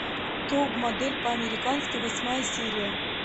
топ модель по американски восьмая серия